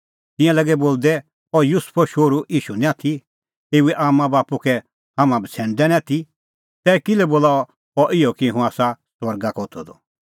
तिंयां लागै बोलदै अह युसुफो शोहरू ईशू निं आथी एऊए आम्मांबाप्पू कै हाम्हैं बछ़ैणदै निं आथी तै किल्है बोला अह इहअ कि हुंह आसा स्वर्गा का होथअ द